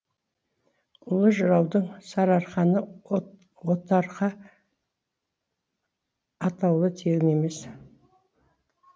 ұлы жыраудың сарыарқаны отарқа атауы тегін емес